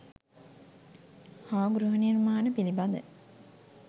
හා ගෘහනිර්මාණ පිළිබඳ